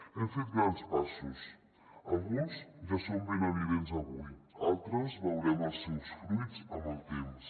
hem fet grans passos alguns ja són ben evidents avui altres veurem els seus fruits amb el temps